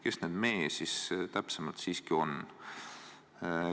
Kes need "me" täpsemalt on?